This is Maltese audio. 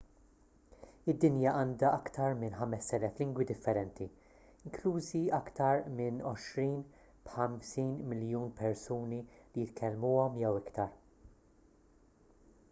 id-dinja għandha aktar minn 5,000 lingwi differenti inklużi iktar minn għoxrin b'50 miljun persuni li jitkellmuhom jew iktar